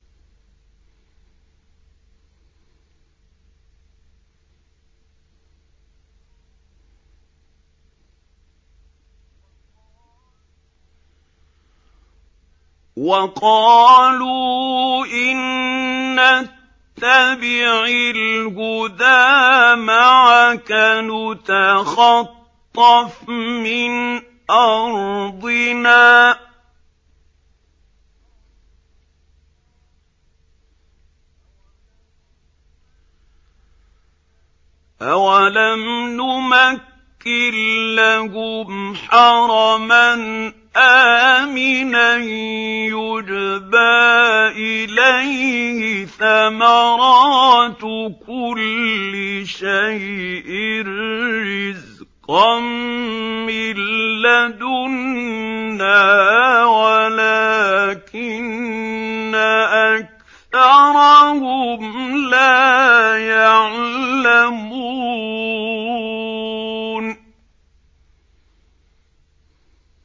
وَقَالُوا إِن نَّتَّبِعِ الْهُدَىٰ مَعَكَ نُتَخَطَّفْ مِنْ أَرْضِنَا ۚ أَوَلَمْ نُمَكِّن لَّهُمْ حَرَمًا آمِنًا يُجْبَىٰ إِلَيْهِ ثَمَرَاتُ كُلِّ شَيْءٍ رِّزْقًا مِّن لَّدُنَّا وَلَٰكِنَّ أَكْثَرَهُمْ لَا يَعْلَمُونَ